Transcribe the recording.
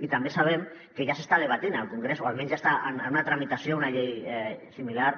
i també sabem que ja s’està debatent al congrés o almenys ja està en una tramitació una llei similar